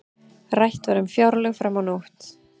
Rætt um fjárlög fram á nótt